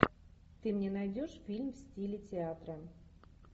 ты мне найдешь фильм в стиле театра